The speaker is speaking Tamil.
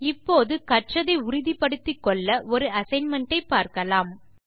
இப்போது கற்றதை உறுதி படுத்திக்கொள்ள ஒரு அசைன்மென்ட் ஐ பார்க்கலாம்